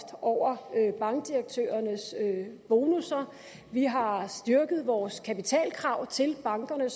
over bankdirektørernes bonusser vi har styrket vores kapitalkrav til bankerne